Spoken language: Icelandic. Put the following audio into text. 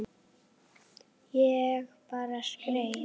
Ég bara skreið